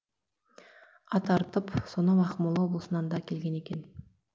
ат арытып сонау ақмола облысынан да келген екен